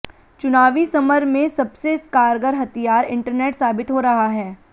चुनावी समर में सबसे कारगर हथियार इंटरनेट साबित हो रहा है